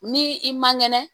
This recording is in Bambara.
Ni i ma kɛnɛ